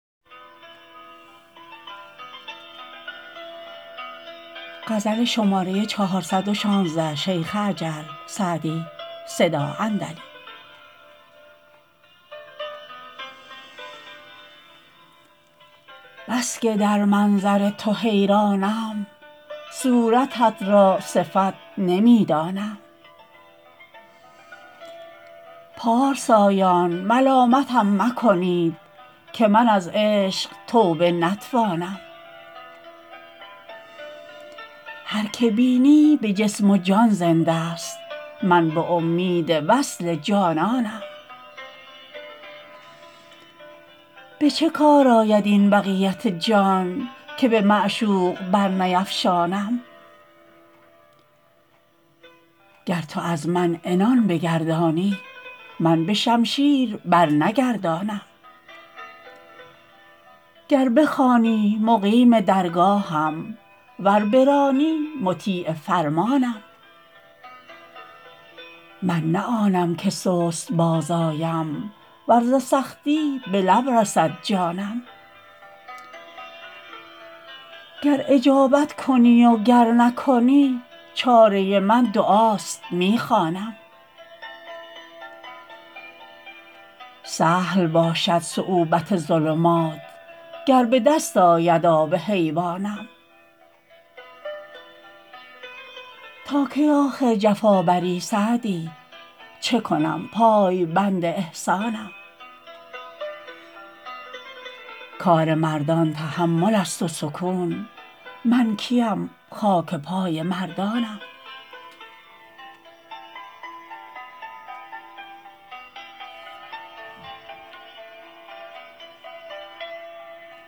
بس که در منظر تو حیرانم صورتت را صفت نمی دانم پارسایان ملامتم مکنید که من از عشق توبه نتوانم هر که بینی به جسم و جان زنده ست من به امید وصل جانانم به چه کار آید این بقیت جان که به معشوق برنیفشانم گر تو از من عنان بگردانی من به شمشیر برنگردانم گر بخوانی مقیم درگاهم ور برانی مطیع فرمانم من نه آنم که سست باز آیم ور ز سختی به لب رسد جانم گر اجابت کنی و گر نکنی چاره من دعاست می خوانم سهل باشد صعوبت ظلمات گر به دست آید آب حیوانم تا کی آخر جفا بری سعدی چه کنم پایبند احسانم کار مردان تحمل است و سکون من کی ام خاک پای مردانم